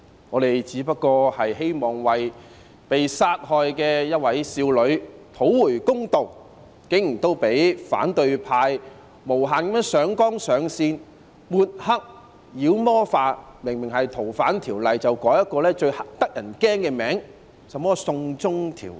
我們只是希望為一位被殺害的少女討回公道，竟然也被反對派無限上綱上線、抹黑和妖魔化，明明是《逃犯條例》，卻被改成一個十分嚇人的名字，甚麼"送中條例"。